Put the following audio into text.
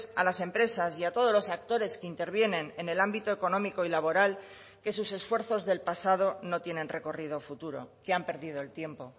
a las empresas y a todos los actores que intervienen en el ámbito económico y laboral que sus esfuerzos del pasado no tienen recorrido futuro que han perdido el tiempo